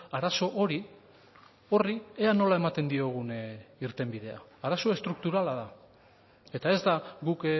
arazo hori horri ea nola ematen diogun irtenbidea arazo estrukturala da eta ez da guk